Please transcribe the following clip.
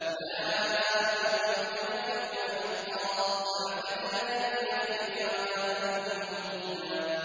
أُولَٰئِكَ هُمُ الْكَافِرُونَ حَقًّا ۚ وَأَعْتَدْنَا لِلْكَافِرِينَ عَذَابًا مُّهِينًا